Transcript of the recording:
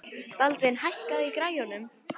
Baldvin, hækkaðu í græjunum.